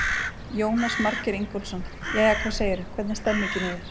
Jónas Margeir Ingólfsson: Jæja, hvað segirðu, hvernig er stemmingin í þér?